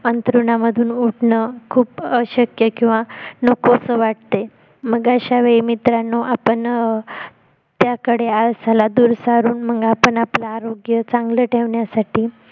आंथरूनामधून उठणं खूप अशक्य किंवा नकोसं वाटतं मग अश्या वेळी मित्रांनो आपण अं त्याकडे आळसाला दूर सारून मग आपण आपले आरोग्य चांगल ठेवण्यासाठी